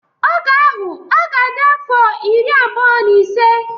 Oge ahụ ọ ga-adi afọ iri abụọ na ise.